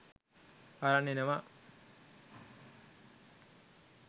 අරන් එනවා.